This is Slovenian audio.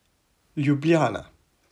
Ljubljana.